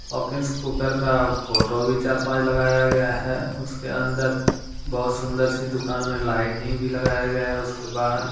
Hawkins cooker का photo भी चार पांच लगाया गया है उसके अंदर बहुत सुंदर सी दुकान में लाइटिंग भी लगाया गया है उसके बाहर--